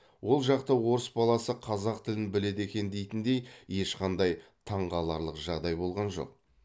ол жақта орыс баласы қазақ тілін біледі екен дейтіндей ешқандай таңғаларлық жағдай болған жоқ